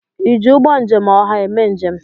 ịji ụgbọ njem ọha eme njem?